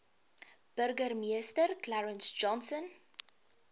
burgemeester clarence johnson